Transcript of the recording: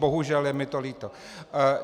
Bohužel, je mi to líto.